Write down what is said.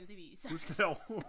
Gudskelov